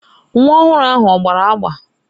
Nwa ọhụrụ ahụ ọ gbara agba?